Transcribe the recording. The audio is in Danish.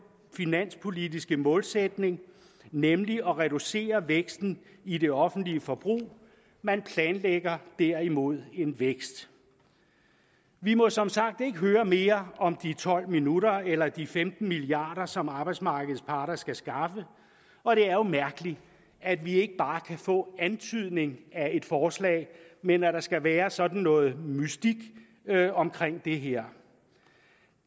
finanspolitiske målsætning nemlig at reducere væksten i det offentlige forbrug man planlægger derimod en vækst vi må som sagt ikke høre mere om de tolv minutter eller de femten milliard kr som arbejdsmarkedets parter skal skaffe og det er jo mærkeligt at vi ikke bare kan få en antydning af et forslag men at der skal være sådan noget mystik omkring det her